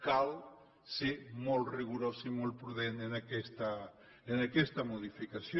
cal ser molt rigorós i molt prudent en aquesta modificació